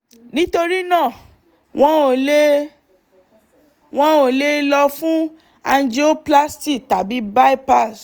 nítorí náà wọn ò le wọn ò le lọ fún angioplasty tàbí bypass